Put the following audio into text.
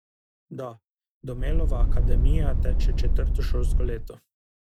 Da, Domelova akademija teče četrto šolsko leto.